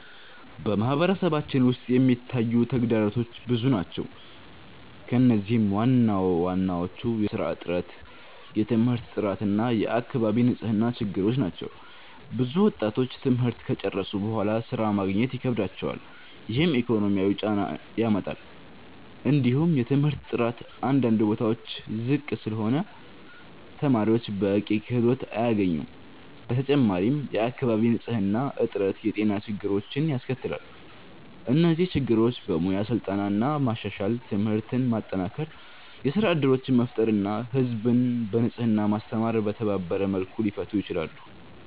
በማህበረሰባችን ውስጥ የሚታዩ ተግዳሮቶች ብዙ ናቸው፣ ከእነዚህም ዋናዎቹ የሥራ እጥረት፣ የትምህርት ጥራት እና የአካባቢ ንጽህና ችግሮች ናቸው። ብዙ ወጣቶች ትምህርት ከጨረሱ በኋላ ሥራ ማግኘት ይከብዳቸዋል፣ ይህም ኢኮኖሚያዊ ጫና ያመጣል። እንዲሁም የትምህርት ጥራት አንዳንድ ቦታዎች ዝቅ ስለሆነ ተማሪዎች በቂ ክህሎት አያገኙም። በተጨማሪም የአካባቢ ንጽህና እጥረት የጤና ችግሮችን ያስከትላል። እነዚህ ችግሮች በሙያ ስልጠና ማሻሻል፣ ትምህርትን ማጠናከር፣ የሥራ እድሎችን መፍጠር እና ህዝብን በንጽህና ማስተማር በተባበረ መልኩ ሊፈቱ ይችላሉ።